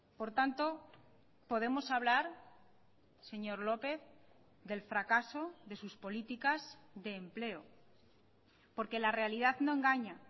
por tanto podemos hablar señor lópez del fracaso de sus políticas de empleo porque la realidad no engaña